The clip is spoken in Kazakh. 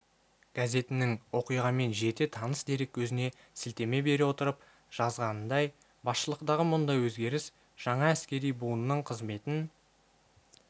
газетінің оқиғамен жете таныс дереккөзіне сілтеме бере отырып жазғанындай басшылықтағы мұндай өзгеріс жаңа әскери буынның қызметін